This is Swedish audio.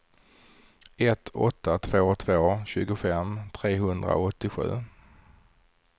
ett åtta två två tjugofem trehundraåttiosju